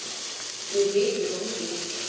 Þið vitið svo mikið!